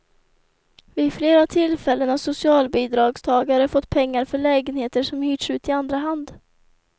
Vid flera tillfällen har socialbidragstagare fått pengar för lägenheter som hyrts ut i andra hand.